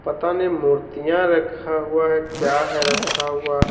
पता नहीं मूर्तियां रखा हुआ है क्या है रखा हुआ।